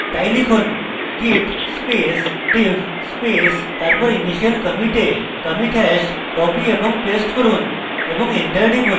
তাই লিখুন: git space diff space তারপর initial কমিটের কমিটি hash copy এবং paste করুন এবং enter টিপুন